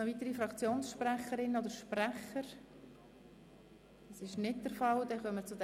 Es haben sich keine weiteren Fraktionen gemeldet.